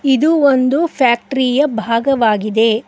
ಇದು ಒಂದು ಫ್ಯಾಕ್ಟರಿ ಯ ಭಾಗವಾಗಿದೆ.